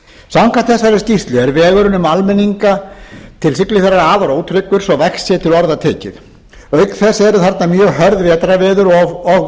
samkvæmt skýrslunni er vegurinn um almenninga til siglufjarðar afar ótryggur svo vægt sé til orða tekið auka þess eru þarna mjög hörð vetrarveður og